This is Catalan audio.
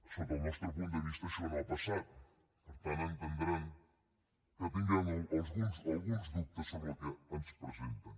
des del nostre punt de vista això no ha passat per tant deuen entendre que tinguem alguns dubtes sobre el que ens presenten